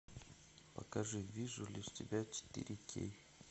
покажи вижу лишь тебя четыре кей